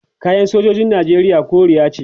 kayan sojojin nijeriya koriya ce